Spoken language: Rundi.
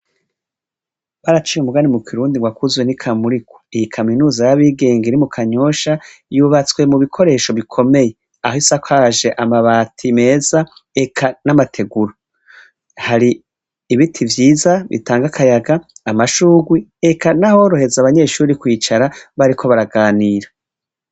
Baraciye umugani mu kirundi ngo akuzuye n'ikamurikwa iyi kaminuza y'abigenge iri mu kanyosha yubatswe mu bikoresho bikomeye aho isakaje amabati meza eka n'amategura hari ibiti vyiza bitanga kayaga amashugwi eka n'ahoroheza abanyeshuri kwicara bariko baraganira.